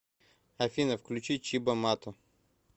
афина включи чибо матто